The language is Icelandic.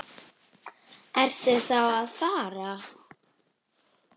Ertu þá að fara?